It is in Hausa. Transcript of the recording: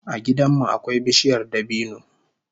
A gidan mu akwai bishiyar dabino